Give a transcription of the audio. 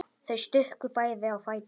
Þau stukku bæði á fætur.